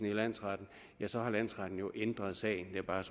i landsretten ja så har landsretten jo ændret sagen det er bare